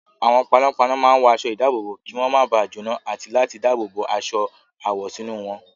Àwọn panápaná máa ń wọ aṣọ-ìdáàbòbò kí wọ́n máa ba jóná àti láti dáàbò bo aṣọ àwọ̀ sínú wọn.